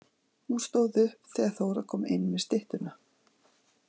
Hún stóð upp þegar Þóra kom inn með styttuna.